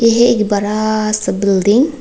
ये एक बड़ा सा बिल्डिंग --